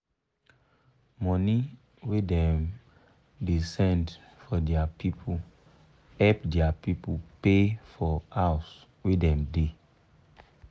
money wey dem da send for dia pipu help dia pipu pay for house wey dem da